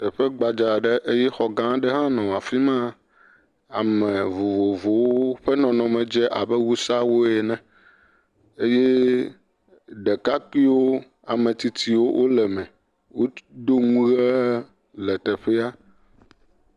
Teƒe gbadza aɖe eye xɔ gã aɖe hã nɔ afi ma, ame vovovowo eye woƒe nɔnɔme dze abe Wusawo ene eye ɖekakpuiwo, ametsitsiwo le me, wodo nuwo le teƒea.